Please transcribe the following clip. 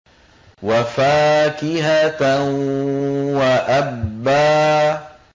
وَفَاكِهَةً وَأَبًّا